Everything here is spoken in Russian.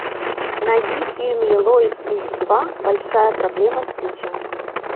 найди фильм лило и стич два большая проблема стича